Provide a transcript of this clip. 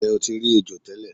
Nje o ti ri ejo tele